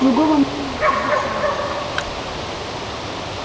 другого мнения и быть не может